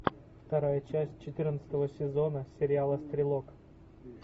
вторая часть четырнадцатого сезона сериала стрелок